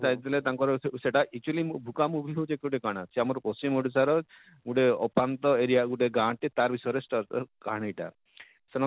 ସେ ଯାଇଥିଲେ ତାଙ୍କର ସେଇଟା actually ଭୁକା movie ହେଉଛେ କାଣା ଯେ ଆମର ପଶ୍ଚିମ ଓଡ଼ିଶାର ଗୋଟେ ଅପାନ୍ତ area ଗୋଟେ ଗାଁ ଟେ ତାର ବିଷୟରେ ଏ କାହାଣୀ ଟା ସେନ